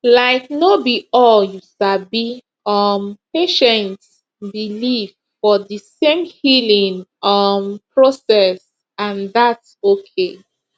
laik no bi all you sabi um patients believe for di same healing um process and thats okay